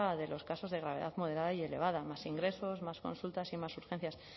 de los casos de gravedad moderada y elevada más ingresos más consultas y más urgencias